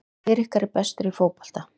Hver ykkar er bestur í fótbolta?